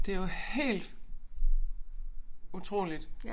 Det jo helt utroligt